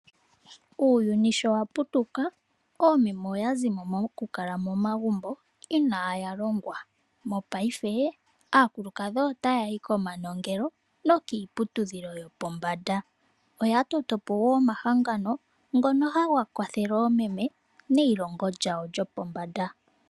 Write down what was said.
Uuyuni sho wa putuka, oomeme oya zimo mokukala momagumbo inaaya longwa. Mopaife aakulukadhi otaya yi komanongelo nokiiputudhilo yopombanda. Oya toto po woo omahangano ngono haga kwathele oomeme neilongo lyawo lyopombanda.